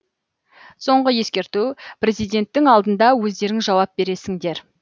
соңғы ескерту президенттің алдында өздерің жауап бересіңдер